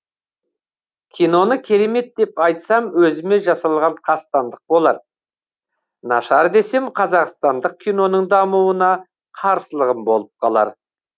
киноны керемет деп айтсам өзіме жасалған қастандық болар нашар десем қазақстандық киноның дамуына қарсылығым болып қалар